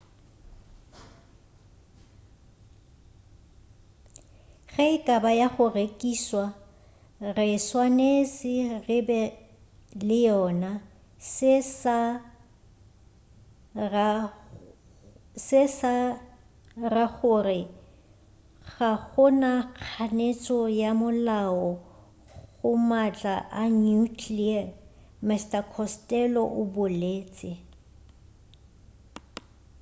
ge e ka ba ya go rekišwa re swanetše re be le yona se sa ra gore ga go na kganetšo ya molao go maatla a nuclear mr costello o boletše